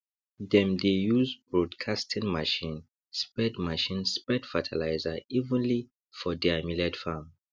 dem dey use broadcasting machine spread machine spread fertilizer evenly for deir millet farm